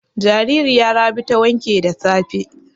Jaririya Rabi ta wanke da safe.